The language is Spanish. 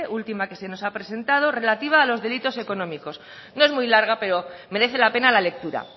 última que se nos ha presentado relativa a los delitos económicos no es muy larga pero merece la pena la lectura